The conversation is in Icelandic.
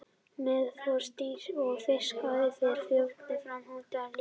Meðal froskdýra og fiska fer frjóvgunin fram utan líkama móður.